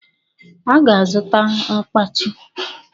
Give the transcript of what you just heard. Ọ ga-azụta mkpachi